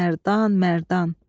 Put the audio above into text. Ax Mərdan, Mərdan.